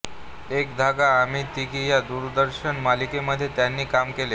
एक धागा आम्ही तिघी या दूरदर्शन मालिकांमध्ये त्यांनी काम केले